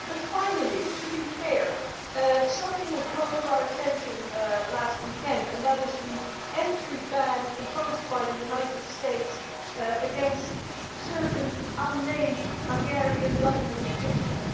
Finally, to be fair, something was brought to our attention last weekend and that is the entry ban imposed by the United States against certain unnamed Hungarian Government officials.